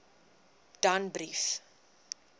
danbrief